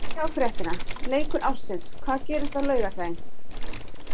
Sjá fréttina: LEIKUR ÁRSINS- HVAÐ GERIST Á LAUGARDAGINN?